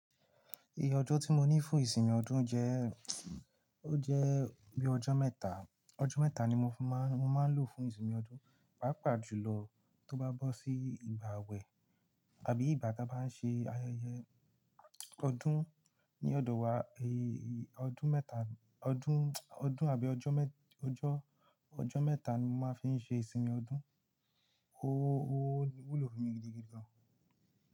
Ijo tí mo ní fún ìsinmi ọdún jẹ́, o jẹ́ bí ọjọ́ mẹ́ta, ọjọ́ mẹ́ta ni mo máa, mo máa ń lò fún ìsinmi ọdún, pàápàá jùlọ tó bá bọ́ sí ìgbà wẹ̀ àbí ìgbà tí a bá ń ṣe ayẹyẹ ọdún ní ọdọ̀ wa, èyí ọdún mẹ́ta, ọdún, ọdún àbí ọjọ́ mẹ́, ọjọ́, ọjọ́ mẹ́ta ni mo máa fi ń ṣe ìsinmi ọdún. Ó, ó wúlò fún mi gidigidi gan.